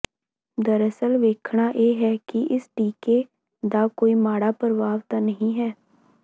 ਦਰਅਸਲ ਵੇਖਣਾ ਇਹ ਹੈ ਕਿ ਇਸ ਟੀਕੇ ਦਾ ਕੋਈ ਮਾੜਾ ਪ੍ਰਭਾਵ ਤਾਂ ਨਹੀਂ ਹੈ